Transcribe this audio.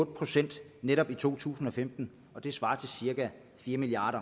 procent i netop to tusind og femten det svarer til cirka fire milliard